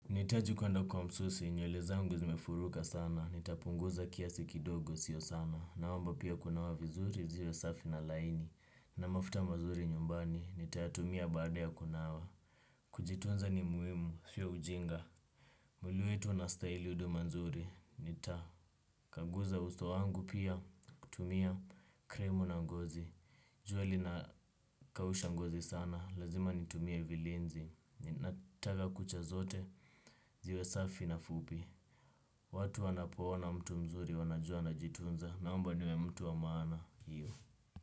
Nitaji kuenda kwa msusi, nyueli zangu zimefuruka sana, nitapunguza kiasi kidogo sio sana, na wamba pia kunawa vizuri, ziwe safi na laini, na mafuta mazuri nyumbani, nitatumia baada ya kunawa. Kujitunza ni muimu, siyo ujinga. Mwili wetu nastaili uduma nzuri, nitakaguza usto wangu pia, kutumia krimu na ngozi, juali na kawusha ngozi sana, lazima nitumia vilinzi, nataga kucha zote, ziwe safi na fupi. Watu wanapoona mtu mzuri wanajua anajitunza. Na mba niwe mtu wa maana hiyo.